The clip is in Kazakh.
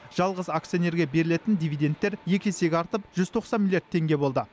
жалғыз акционерге берілетін дивидендтер екі есеге артып жүз тоқсан миллиард теңге болды